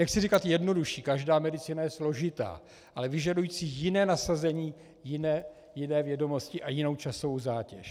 Nechci říkat jednodušší, každá medicína je složitá, ale vyžadující jiné nasazení, jiné vědomosti a jinou časovou zátěž.